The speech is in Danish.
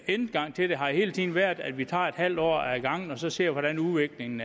indgang til det har hele tiden været at vi tager en halv år ad gangen og så ser hvordan udviklingen